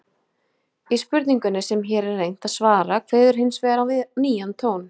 Í spurningunni sem hér er reynt að svara kveður hins vegar við nýjan tón.